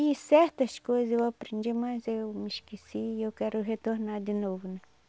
E certas coisas eu aprendi, mas eu me esqueci e eu quero retornar de novo né.